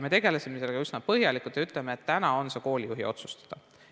Me tegelesime sellega üsna põhjalikult ja ütleme, et täna on see koolijuhi otsustada.